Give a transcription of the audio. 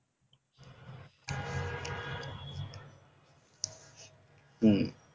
হম